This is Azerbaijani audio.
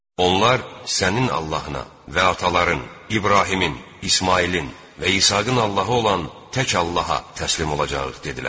Onlar sənin Allahına və ataların İbrahimin, İsmayılın və İsaqın Allahı olan tək Allaha təslim olacağıq dedilər.